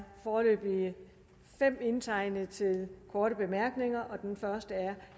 foreløbig fem indtegnet til korte bemærkninger og den første er